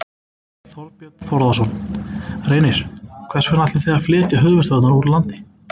Þorbjörn Þórðarson: Reynir, hvers vegna ætlið þið að flytja höfuðstöðvarnar úr landi?